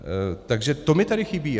Takže to mi tady chybí.